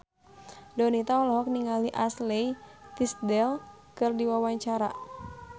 Donita olohok ningali Ashley Tisdale keur diwawancara